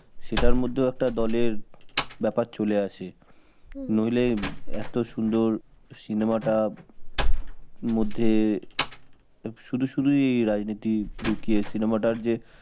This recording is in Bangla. সেটার মধ্যেও একটা দলের ব্যাপার চলে আসে, নইলে এত সুন্দর cinema টা মধ্যে শুধু শুধুই রাজনীতি ঢুকিয়ে cinema টার যে